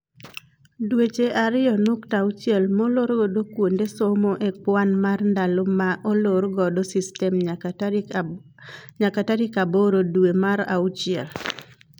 Dweche ariyo nukta auchiel molor godo kuonde somo e kwan mar ndalo ma olor godo system nyaka tarik aboro dwee mar auchiel.